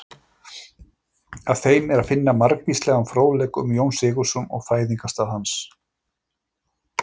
Á þeim er að finna margvíslegan fróðleik um Jón Sigurðsson og fæðingarstað hans.